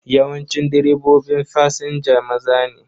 Yawancin direbobin fasinja maza ne.